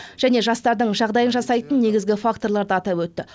және жастардың жағдайын жасайтын негізгі факторларды атап өтті